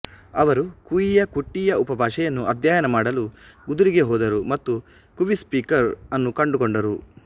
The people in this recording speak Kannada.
ಅವರು ಕುಯಿಯ ಕುಟ್ಟಿಯಾ ಉಪಭಾಷೆಯನ್ನು ಅಧ್ಯಯನ ಮಾಡಲು ಗುದರಿಗೆ ಹೋದರು ಮತ್ತು ಕುವಿ ಸ್ಪೀಕರ್ ಅನ್ನು ಕಂಡುಕೊಂಡರು